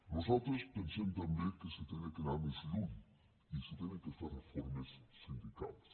nosaltres pensem també que s’ha d’anar més lluny i s’han de fer reformes sindicals